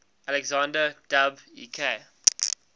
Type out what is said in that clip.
alexander dub ek